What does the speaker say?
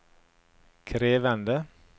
krevende